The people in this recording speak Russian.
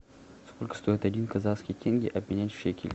сколько стоит один казахский тенге обменять в шекель